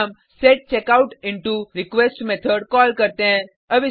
फिर हम सेचेकआउटइंटरक्वेस्ट मेथड कॉल करते हैं